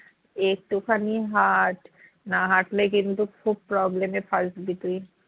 একটুখানি হাঁট না হাঁটলে কিন্তু খুব problem এ ফাঁসবি তুই